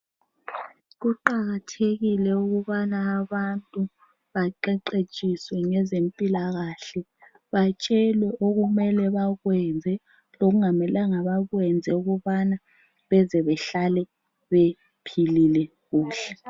Kuqakathekile ukubana abantu baqeqetshiswe ngezempilakahle. Batshewe okumele bakwenze lokungamelanga bakwenze ukubana beze bahlale bephilile kuhle.